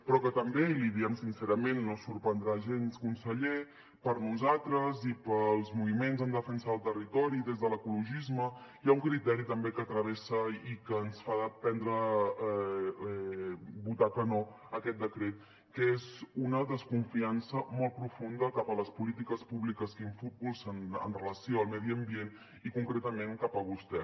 però també i l’hi diem sincerament no es sorprendrà gens conseller per nosaltres i pels moviments en defensa del territori des de l’ecologisme hi ha un criteri també que travessa i que ens fa votar que no aquest decret que és una desconfiança molt profunda cap a les polítiques públiques que impulsen amb relació al medi ambient i concretament cap a vostè